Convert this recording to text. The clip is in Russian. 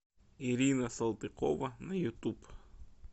ирина салтыкова на ютуб